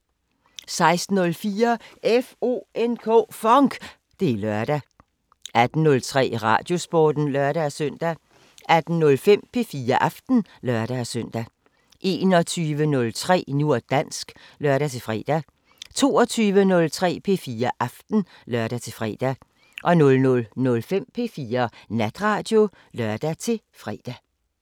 16:04: FONK! Det er lørdag 18:03: Radiosporten (lør-søn) 18:05: P4 Aften (lør-søn) 21:03: Nu og dansk (lør-fre) 22:03: P4 Aften (lør-fre) 00:05: P4 Natradio (lør-fre)